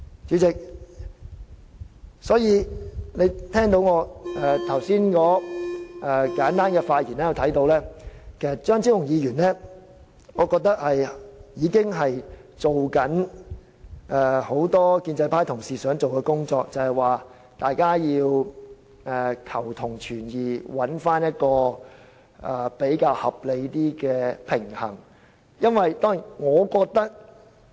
主席，從我剛才簡單的發言可見，張超雄議員其實是在做很多建制派同事想做的工作，即求同存異，尋找一個較合理的平衡點。